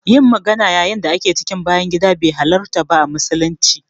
Yin magana yayin da ake cikin bayan gida be halarta ba a musulunci.